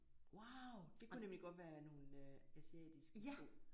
Wow det kunne nemlig godt være nogle asiatiske sko